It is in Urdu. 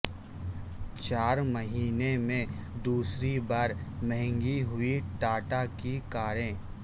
چار مہینے میں دوسری بار مہنگی ہوئی ٹاٹا کی کاریں